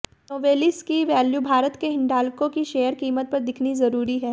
Novelis की value Bharat में हिंडाल्को की शेयर कीमत पर दिखनी जरूरी है